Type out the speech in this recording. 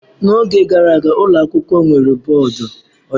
N'oge gara aga, ụlọ akwụkwọ nwere bọọdụ ojii.